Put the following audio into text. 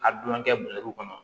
A dunan kɛ kɔnɔ